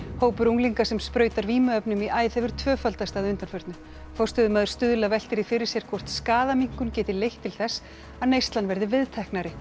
hópur unglinga sem sprautar vímuefnum í æð hefur tvöfaldast að undanförnu forstöðumaður Stuðla veltir því fyrir sér hvort skaðaminnkun geti leitt til þess að neyslan verði viðteknari